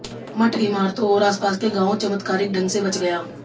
मठ इमारतों और आसपास के गांवों चमत्कारिक ढंग से बच गया